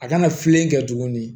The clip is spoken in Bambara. A kana filɛli kɛ tuguni